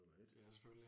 Ja selvfølgelig